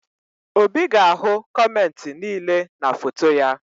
Obi ga-ahụ kọmentị niile dị na foto ya